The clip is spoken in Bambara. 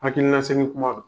Hakilina segin kuma don